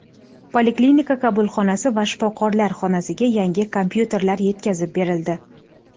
Poliklinika qabulxonasi va shifokorlar xonasiga yangi kompyuterlar yetkazib berildi.